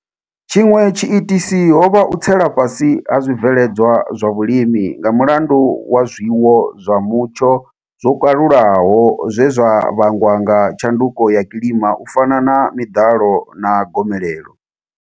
Tshiṅwe tshiitisi ho vha u tsela fhasi ha zwibveledzwa zwa vhulimi nga mulandu wa zwiwo zwa mutsho zwo kalulaho zwe zwa vhangwa nga tshanduko ya kilima u fana na miḓalo na gomelelo.